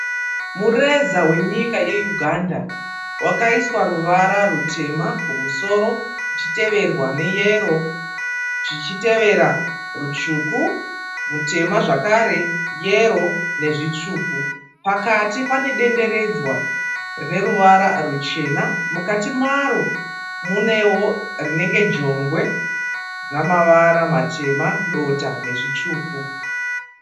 Mureza wenyika yeUganda. Wakaiswa ruvara rutema kumusoro kuchiteverwa neyero zvichitevera rutsvuku mutema zvakare, yero nezvitsvuku. Pakati pane denderedzwa rine ruvara ruchena. Mukati maro munewo rinenge jongwe rine mavara matema, dota nezvitsvuku.